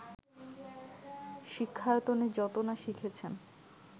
শিক্ষায়তনে যত না শিখেছেন